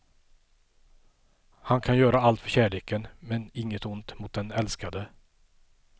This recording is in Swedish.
Han kan göra allt för kärleken, men inget ont mot den älskade.